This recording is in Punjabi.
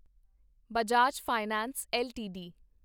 Bajaj finance LTD